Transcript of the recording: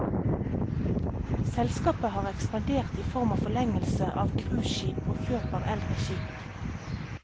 Selskapet har ekspandert i form av forlengelser av cruiseskip og kjøp av eldre skip.